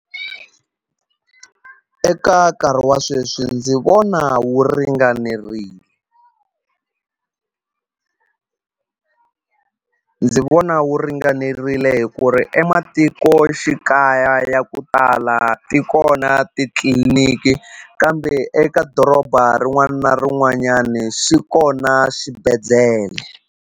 Eka nkarhi wa sweswi ndzi vona wu ringanerile ndzi vona wu ringanerile hi ku ri ematikoxikaya ya ku tala ti kona titliniki kambe eka doroba rin'wana na rin'wanyani swi kona swibedhlele.